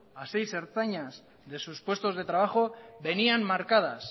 a seis ertzainas de sus puestos de trabajo venían marcadas